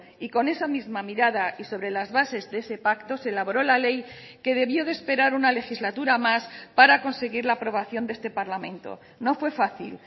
y con esa misma mirada y sobre las bases de ese pacto se elaboró la ley que debió de esperar una legislatura más para conseguir la aprobación de este parlamento no fue fácil